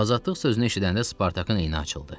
Azadlıq sözünü eşidəndə Spartakın eni açıldı.